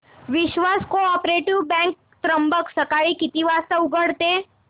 विश्वास cooperative bank Trimbak सकाळी किती वाजता उघडते